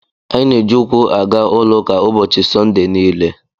Anyị na-eji ụkwụ aga ụlọ ụka ụbọchị Sọnde niile.